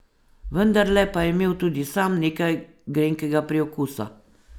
Vendarle pa je imel tudi sam nekaj grenkega priokusa.